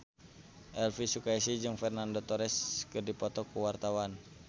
Elvy Sukaesih jeung Fernando Torres keur dipoto ku wartawan